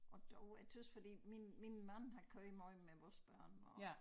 Og dog jeg tøs fordi min min mand har kørt meget med vores børn og